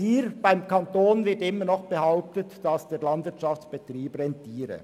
Vom Kanton wird immer noch behauptet, dass der Landwirtschaftsbetrieb rentiere.